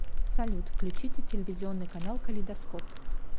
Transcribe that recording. салют включите телевизионный канал калейдоскоп